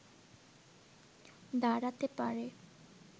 দাঁড়াতে পারে